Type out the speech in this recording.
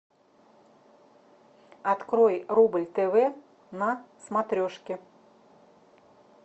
открой рубль тв на смотрешке